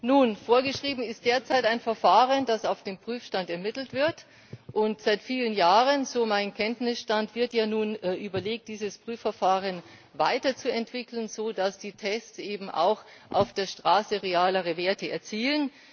Nun, vorgeschrieben ist derzeit ein Verfahren, das auf dem Prüfstand ermittelt wird, und seit vielen Jahren so mein Kenntnisstand wird ja nun überlegt, dieses Prüfverfahren weiterzuentwickeln, so dass die Tests eben auch auf der Straße realere Werte erzielen.